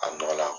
A dɔ la